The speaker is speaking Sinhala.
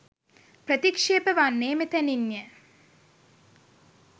ප්‍රතික්ෂේප වන්නේ මෙතැනින්ය